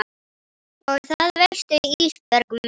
Og það veistu Ísbjörg mín.